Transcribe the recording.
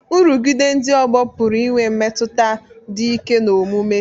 Nrụgide ndị ọgbọ pụrụ inwe mmetụta dị ike n'omume